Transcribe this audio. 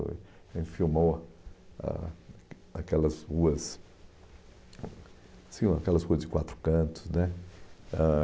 Foi a gente filmou ah aquelas ruas... Tinham aquelas ruas de quatro cantos né ah